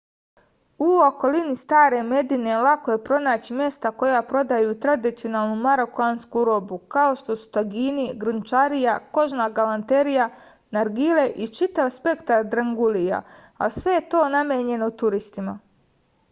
u okolini stare medine lako je pronaći mesta koja prodaju tradicionalnu marokansku robu kao što su tagini grnčarija kožna galanterija nargile i čitav spektar drangulija ali sve je to namenjeno turistima